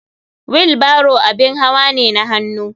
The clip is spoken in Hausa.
Wheel barrow abin hawa ne na hannu.